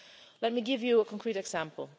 Let me give you a concrete example.